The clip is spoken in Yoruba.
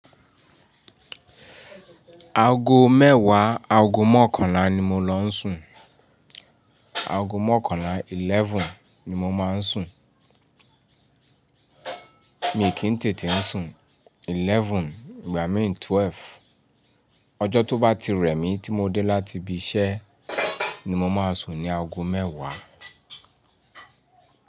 Aago mẹ́wàá, aago mọ́kànlá ni mo ló ń sùn. Aago mọ́kànlá, eleven ni mo máa ń sùn. Mi kì í tètè ń sùn. Eleven, ìgbà míràn twelve. Ọjọ́ tó bá ti rẹ̀ mí tí mo dé láti ibi iṣẹ́ ni mo máa sùn ní aago mẹ́wàá.